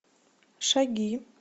шаги